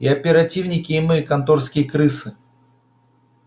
и оперативники и мы конторские крысы